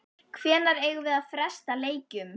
Hvenær eigum við að fresta leikjum?